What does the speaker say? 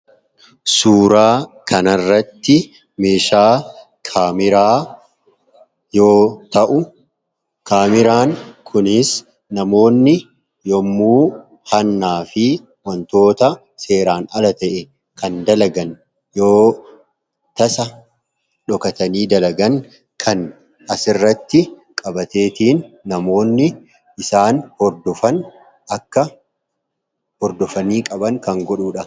Suuraa kana irratti meeshaa kaameraa yoota'u kaameraan kunis namoonni yemmuu hannaafi waantota seeraan ala ta'e kan dalagan yootasa dhokatanii dalagan kan asirratti qabateetiin namoonni isaan akka hordofanii qaban kan godhudha.